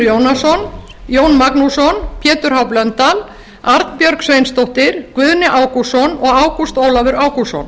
jónasson jón magnússon pétur h blöndal arnbjörg sveinsdóttir guðni ágústsson og ágúst ólafur ágústsson